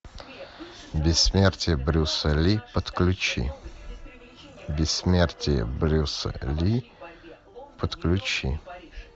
бессмертие брюса ли подключи бессмертие брюса ли подключи